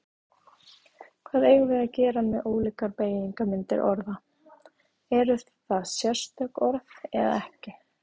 Hvað eigum við að gera með ólíkar beygingarmyndir orða, eru það sérstök orð eða ekki?